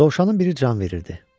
Dovşanın biri can verirdi.